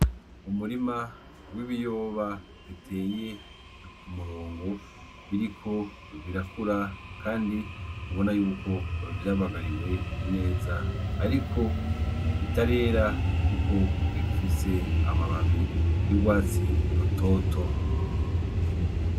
Umurima w'ibiyoba biteye k'umurongo biriko birakura Kandi, ubona yuko vyarabagariwe neza ariko bitarera guko bigifise amababi y'urwutsi rutoto.